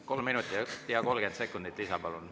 Kolm minutit ja 30 sekundit lisa, palun.